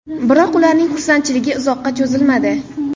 Biroq, ularning xursandchiligi uzoqqa cho‘zilmadi.